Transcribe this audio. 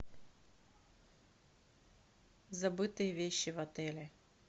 забытые вещи в отеле